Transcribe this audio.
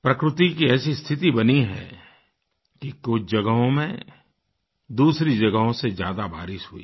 प्रकृति की ऐसी स्थिति बनी है कि कुछ जगहों में दूसरी जगहों से ज्यादा बारिश हुई